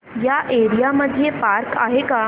या एरिया मध्ये पार्क आहे का